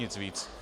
Nic víc.